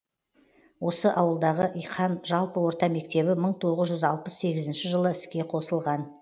осы ауылдағы иқан жалпы орта мектебі мың тоғыз жүз алпыс сегізінші жылы іске қосылған